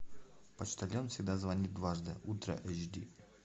почтальон всегда звонит дважды ультра эйч ди